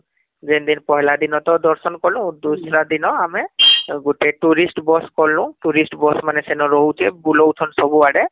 ଯେନ ଦିନ ପହିଲା ଦିନ ତ ଦର୍ଶନ କଲୁ ଆଉ ଦୂସରା ଦିନ ଗୁଟେ tourist Bus କନୁ tourist ମାନେ ସେନ ରହୁଛେ , ବୁଲାଉଛନ ସବୁ ଆଡେ